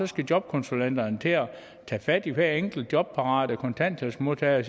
skal jobkonsulenterne til at tage fat i hver enkelt jobparate kontanthjælpsmodtager og